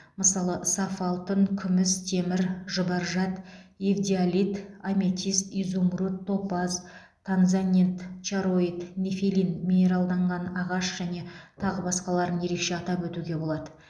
мысалы саф алтын күміс темір жұбаржат эвдиалит аметист изумруд топаз танзанит чароит нефелин минералданған ағаш және тағы басқаларын ерекше атап өтуге болады